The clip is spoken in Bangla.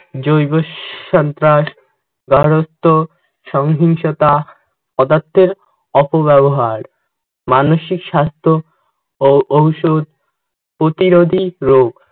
জৈব সন্ত্রাস, সংহিংসতা, পদার্থের অপব্যবহার, মানসিক স্বাস্থ্য ও ঔষুধ প্রতিরোধী রোগ